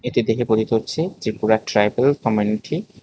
এটি দেখে বোধিত হচ্ছে যে পুরা ট্রাইবেল কমিউনিটি ।